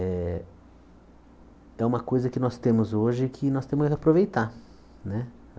É é uma coisa que nós temos hoje que nós temos que aproveitar né.